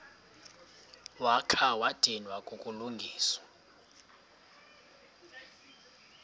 wakha wadinwa kukulungisa